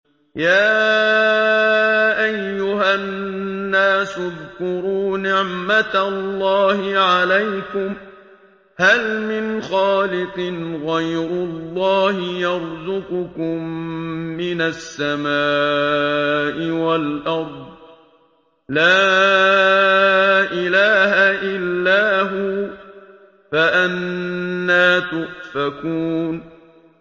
يَا أَيُّهَا النَّاسُ اذْكُرُوا نِعْمَتَ اللَّهِ عَلَيْكُمْ ۚ هَلْ مِنْ خَالِقٍ غَيْرُ اللَّهِ يَرْزُقُكُم مِّنَ السَّمَاءِ وَالْأَرْضِ ۚ لَا إِلَٰهَ إِلَّا هُوَ ۖ فَأَنَّىٰ تُؤْفَكُونَ